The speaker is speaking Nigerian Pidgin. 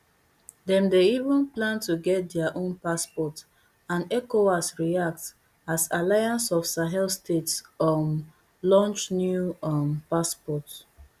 dem dey even plan to get dia own passport andecowas react as alliance of sahel states um launch new um passport